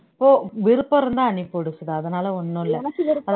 ஓ விருப்பம் இருந்தா அனுப்பிவிடு சுதா அதனால ஒண்ணும் இல்லை